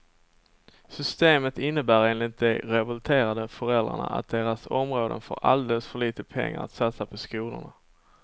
Systemet innebär enligt de revolterande föräldrarna att deras områden får alldeles för lite pengar att satsa på skolorna.